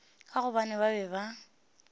ka gobane ba be ba